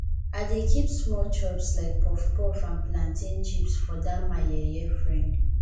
i dey keep small chops like puffpuff and plantain chips for for dat my yeye frend